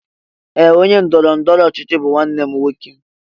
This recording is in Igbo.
Ee! Onye ndọrọ ndọrọ ọchịchị bụ nwanne m nwoke.